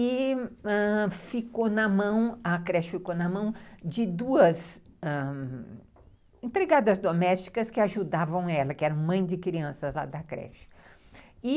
E ãh... a creche ficou na mão de duas empregadas domésticas que ajudavam ela, que eram mãe de crianças lá da creche.